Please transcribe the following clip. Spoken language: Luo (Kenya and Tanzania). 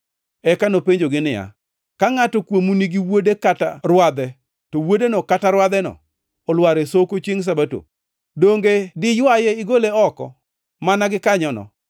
Eka nopenjogi niya, “Ka ngʼato kuomu nigi wuode kata rwadhe to wuodeno kata rwadheno olwar e soko chiengʼ Sabato, donge diywaye igole oko mana gikanyono?”